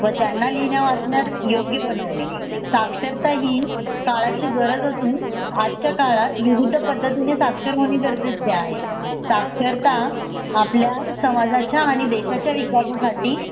व त्यांना लिहिण्या वाचण्यात योग्य बनवणे साक्षरता ही काळाची गरज असून आजच्या काळात विविध पद्धतीने साक्षर होणे गरजेचे आहे साक्षरता आपल्या समाजाच्या आणि देशाच्या विकासासाठी